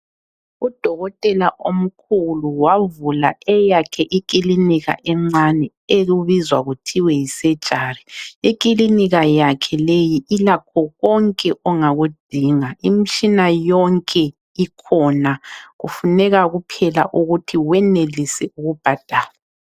Udokotela omkhulu wavula eyakhe ikilinika encane okubizwa kuthiwe yi surgery. Ikilinika yakhe leyi ilakho konke ongakudinga. Imtshina yonke ikhona, kufuneka kuphela ukuthi wenelise ukubhadala.